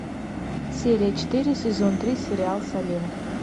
серия четыре сезон три сериал салем